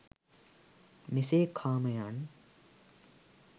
මෙසේ කාමයන්